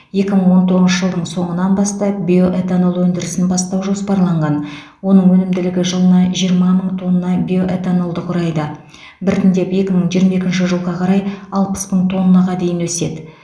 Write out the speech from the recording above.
екі мың он тоғызыншы жылдың соңынан бастап биоэтанол өндірісін бастау жоспарланған оның өнімділігі жылына жиырма мың тонна биоэтанолды құрайды біртіндеп екі мың жиырма екінші жылға қарай алпыс мың тоннаға дейін өседі